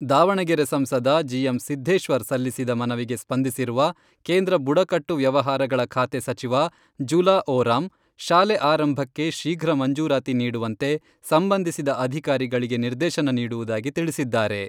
ದಾವಣಗೆರೆ ಸಂಸದ ಜಿ.ಎಂ.ಸಿದ್ದೇಶ್ವರ್ ಸಲ್ಲಿಸಿದ ಮನವಿಗೆ ಸ್ಪಂದಿಸಿರುವ, ಕೇಂದ್ರ ಬುಡಕಟ್ಟು ವ್ಯವಹಾರಗಳ ಖಾತೆ ಸಚಿವ ಜುಲಾ ಓರಾಮ್ ಶಾಲೆ ಆರಂಭಕ್ಕೆ ಶೀಘ್ರ ಮಂಜೂರಾತಿ ನೀಡುವಂತೆ ಸಂಬಂಧಿಸಿದ ಅಧಿಕಾರಿಗಳಿಗೆ ನಿರ್ದೇಶನ ನೀಡುವುದಾಗಿ ತಿಳಿಸಿದ್ದಾರೆ.